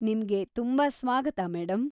ನಿಮ್ಗೆ ತುಂಬ ಸ್ವಾಗತ, ಮೇಡಂ.